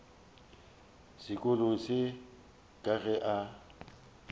sekolong se ka ge a